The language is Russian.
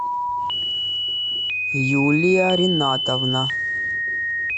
юлия ринатовна